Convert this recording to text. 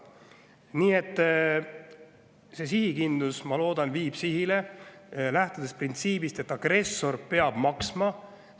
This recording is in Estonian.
Nii et see sihikindlus, ma loodan, viib sihile ja lähtub printsiibist, et agressor peab maksma.